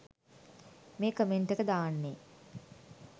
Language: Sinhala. මේ කමෙන්ට් එක දාන්නේ.